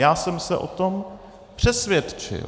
Já jsem se o tom přesvědčil.